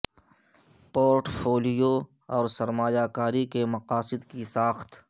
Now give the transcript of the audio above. port folio اور سرمایہ کاری کے مقاصد کی ساخت